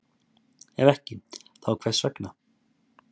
Ef ekki, þá hvers vegna?